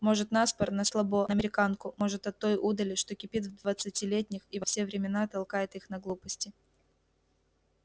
может на спор на слабо на американку может от той удали что кипит в двадцатилетних и во все времена толкает их на глупости